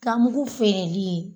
Ganmugu feereli ye